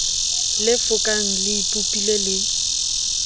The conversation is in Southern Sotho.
le fokang le ipopile le